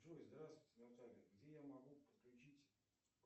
джой здравствуйте наталья где я могу подключить